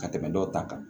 Ka tɛmɛ dɔw ta kan